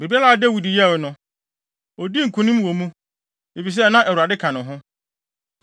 Biribiara a Dawid yɛe no, odii nkonim wɔ mu, efisɛ na Awurade ka ne ho.